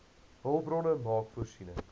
hulpbronne maak voorsiening